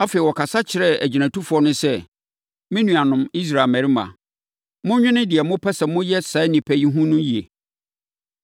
Afei, ɔkasa kyerɛɛ agyinatufoɔ no sɛ, “Me nuanom Israel mmarima, monnwene deɛ mopɛ sɛ moyɛ saa nnipa yi no ho yie.